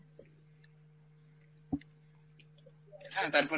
হ্যাঁ তারপরে